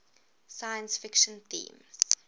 science fiction themes